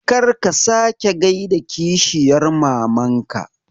Kar ka sake gaida kishiyar mamanka